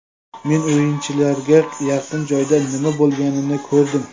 Men o‘yinchilarga yaqin joydan nima bo‘lganini ko‘rdim.